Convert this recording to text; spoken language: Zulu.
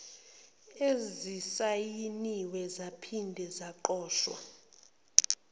ezisayiniwe zaphinde zagqotshwa